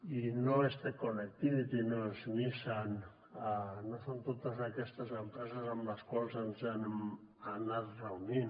i no és te connectivity no és nissan no són totes aquestes empreses amb les quals ens hem anat reunint